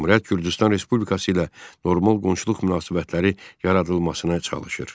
Cümhuriyyət Gürcüstan Respublikası ilə normal qonşuluq münasibətləri yaradılmasına çalışır.